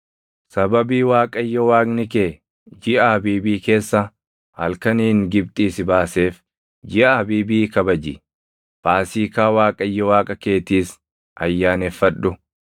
Sababii Waaqayyo Waaqni kee jiʼa Abiibii keessa halkaniin Gibxii si baaseef jiʼa Abiibii kabaji; Faasiikaa Waaqayyo Waaqa keetiis ayyaaneffadhu.